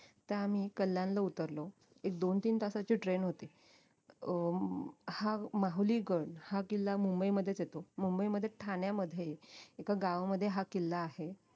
तर आम्ही कल्याणला उतरलो एक दोन तीन तासाची train होती अं हा माहुली गड हा किल्ला मुंबईमधेच येतो मुंबईमध्ये ठाण्यामध्ये एका गावा मध्ये हा किल्ला आहे